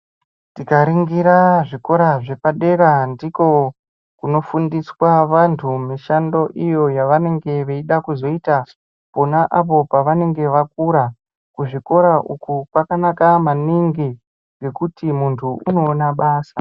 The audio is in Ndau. Tikaringira zvikora zvepadera ndiko kunofundiswa vantu mishando iyo yavanenge veida kuzoita pona apo pavanenge vakura kuzvikora uku kwakanaka maningi nekuti muntu unoona basa .